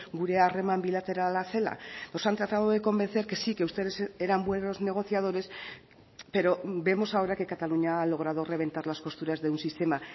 gurea harreman bilaterala zela nos han tratado de convencer que sí que ustedes eran buenos negociadores pero vemos ahora que cataluña ha logrado reventar las costuras de un sistema